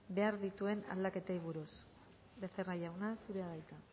behar dituen aldaketei buruz becerra jauna zurea da hitza